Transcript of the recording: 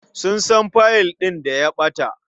Kun san fiyil ɗin da ya ɓata?